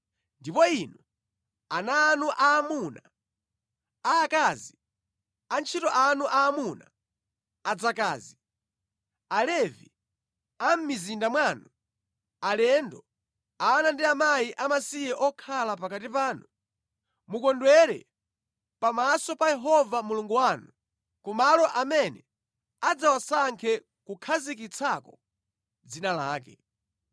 Ndipo inu, ana anu aamuna, aakazi, antchito anu aamuna, adzakazi, Alevi a mʼmizinda mwanu, alendo, ana ndi akazi amasiye okhala pakati panu, mukondwere pamaso pa Yehova Mulungu wanu ku malo amene adzawasankhe kukhazikitsako dzina lake.